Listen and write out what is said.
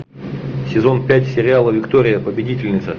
сезон пять сериала виктория победительница